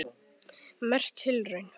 Merk tilraun